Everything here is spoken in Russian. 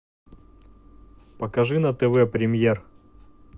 покажи на тв премьер